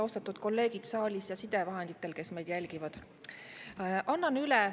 Austatud kolleegid saalis ja need, kes jälgivad meid sidevahendite kaudu!